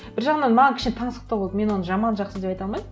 бір жағынан маған кішкене таңсықтау болды мен оны жаман жақсы деп айта алмаймын